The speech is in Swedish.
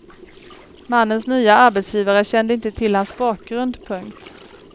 Mannens nya arbetsgivare kände inte till hans bakgrund. punkt